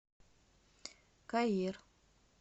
каир